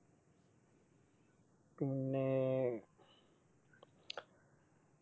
പിന്നെ